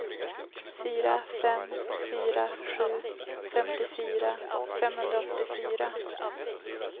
fyra fem fyra sju femtiofyra femhundraåttiofyra